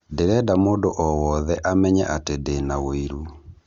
Ndĩrenda mũndũ o wothe amenye atĩ ndĩ na wũiru